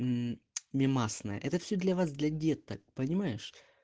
и мемасы это все для вас для деток понимаешь